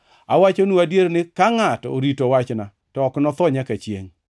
Awachonu adier ni ka ngʼato orito wachna, to ok notho nyaka chiengʼ.”